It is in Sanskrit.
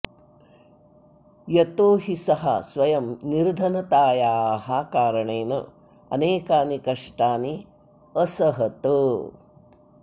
यतो हि सः स्वयं निर्धनतायाः कारणेन अनेकानि कष्टानि असहत